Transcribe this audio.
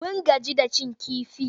Mun gaji da cin kifi.